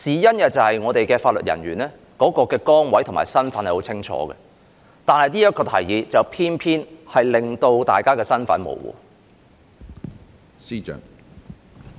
原因是法律人員的崗位和身份是很清楚的，但這項建議卻偏偏令到他們的身份模糊。